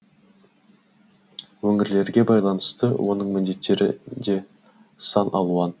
өңірлерге байланысты оның міндеттері де сан алуан